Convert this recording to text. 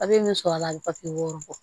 A bɛ min sɔrɔ a la bi papiye b'o bɔ